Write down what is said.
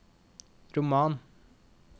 roman